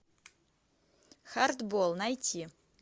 хардбол найти